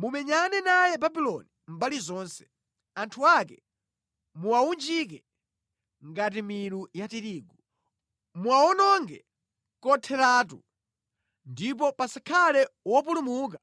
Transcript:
Mumenyane naye Babuloni mbali zonse. Anthu ake muwawunjike ngati milu ya tirigu. Muwawononge kotheratu ndipo pasakhale wopulumuka